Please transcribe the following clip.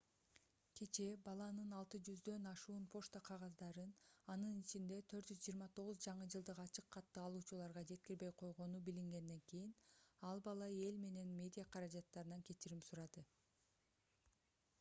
кечээ баланын 600 ашуун почта кагаздарын анын ичинде 429 жаңы жылдык ачык катты алуучуларга жеткирбей койгону билингенден кийин ал бала эл менен медиа каражаттарынан кечирим сурады